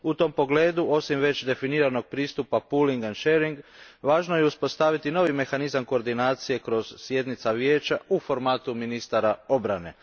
U tom pogledu, osim već definiranog pristupa pulling and sharing, važno je uspostaviti novi mehanizam koordinacije kroz sjednice Vijeća u formatu ministara obrane.